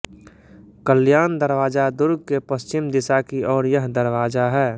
कल्याण दरवाजा दुर्ग के पश्चिम दिशा की ओर यह दरवाजा है